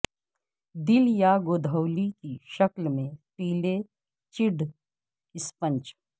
دل یا گودھولی کی شکل میں پیلے جیڈ اسپنج